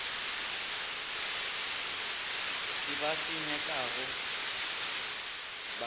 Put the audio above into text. se ba se nyakago ba